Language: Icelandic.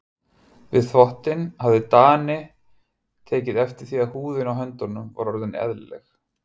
Við þvottinn hafði Daði tekið eftir því að húðin á höndunum var orðin ellileg.